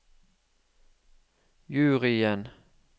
juryen